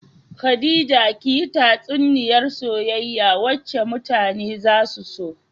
Khadija kiyi tatsuniyar soyayya wacce mutane za su so.